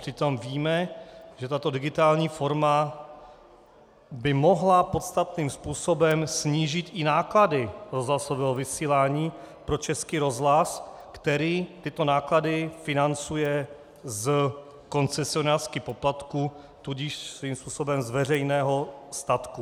Přitom víme, že tato digitální forma by mohla podstatným způsobem snížit i náklady rozhlasového vysílání pro Český rozhlas, který tyto náklady financuje z koncesionářských poplatků, tudíž svým způsobem z veřejného statku.